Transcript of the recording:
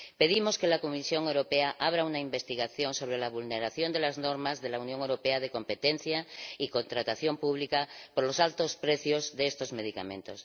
Pedimos que la Comisión Europea abra una investigación sobre la vulneración de las normas de la Unión Europea en materia de competencia y contratación pública por los altos precios de estos medicamentos.